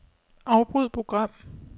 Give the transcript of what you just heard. Afbryd program.